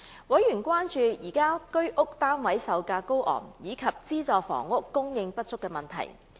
委員關注現時居者有其屋計劃單位售價高昂及資助房屋供應不足的問題。